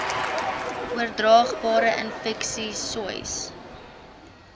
oordraagbare infeksies sois